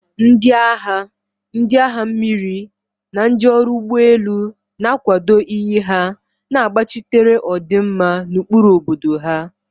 Ndị agha, ndị agha mmiri, na ndị ọrụ ụgbọ elu na-akwado iyi ha, na-agbachitere ọdịmma na ụkpụrụ obodo ha.